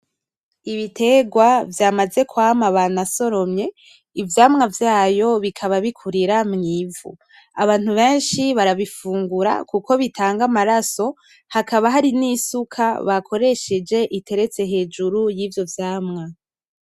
Ibitegwa vyamaze kwama banasoromye ivyamwa vyayo bikaba bikurira mw'ivu. Abantu benshi barabifungura kuko bitanga amaraso hakaba hari n'isuka bakoresheje iteretse hejuru yivyo vyamwa.